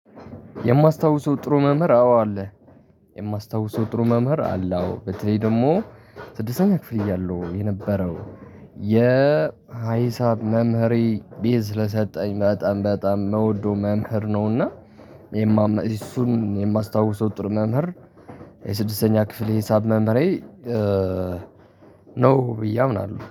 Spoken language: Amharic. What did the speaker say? የማስታውሰው ጥሩ መምህር አዎ አለ የማስታውሰው ጥሩ መምህር አለ። አዎ በተለይ ደግሞ ስድስተኛ ክፍል እያለሁ የነበረው የሃይሳብ መምህሬ ቤዝ ስለሰጠኝ በጣም መውዶ መምህር ነውና። የማመን እሱን የማስታውሰው ጥሩ መምህር። የስድስተኛ ክፍል የሂሳብ መምሬ ነው ብዬ አምናለሁ